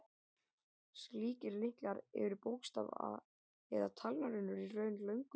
Slíkir lyklar eru bókstafa- eða talnarunur, í raun löng lykilorð.